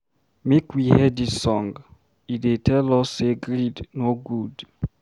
Make we hear dis song, e dey tell us sey greed no good.